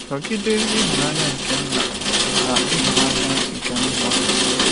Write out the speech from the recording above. Nọgide n’ịhụnanya nke Nna na n’ịhụnanya nke Nwa.